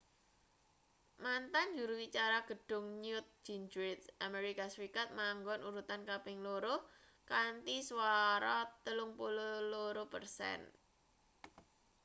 mantan juru wicara gedhung newt gingrich amerika serikat manggon urutan kaping loro kanthi swara 32 persen